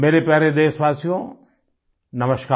मेरे प्यारे देशवासियो नमस्कार